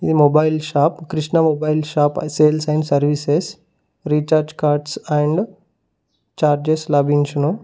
ఈ mobile shop Krishna mobile shop sales and services recharge cards and chargers లభించును.